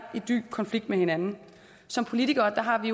i dyb konflikt med hinanden som politikere har vi